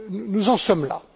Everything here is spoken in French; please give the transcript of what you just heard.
Nous en sommes là.